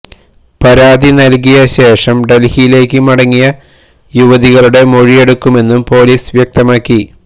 പരാതി നല്കിയ ശേഷം ഡല്ഹിയിലേക്ക് മടങ്ങിയ യുവതികളുടെ മൊഴിയെടുക്കുമെന്നും പൊലീസ് വ്യക്തമാക്കി